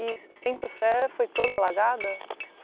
E Centro-Sé foi toda alagada?